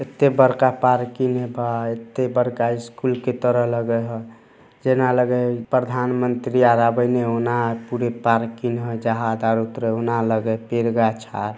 इते बड़का पार्किंग हेय बा एते बड़का स्कुल की तरह लगेत हय जेना लगे प्रधानमंत्री आ आबे ने हेय ओना पूरे पार्किंग हेय पेड़-गाछ----